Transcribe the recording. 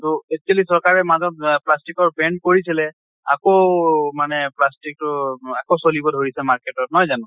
তʼ actually চৰকাৰে মাজত এহ plastic ৰ ban কৰিছিলে, আকৌ মানে plastic টো ম আকৌ চলিব ধৰিছে market ত নহয় জানো?